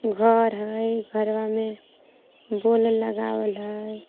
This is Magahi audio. त्योहार ह घरवा में गेन लगावल ह.